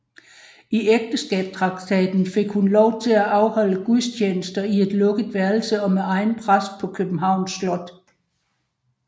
I ægteskabstraktaten fik hun lov til at afholde gudstjenester i et lukket værelse og med egen præst på Københavns Slot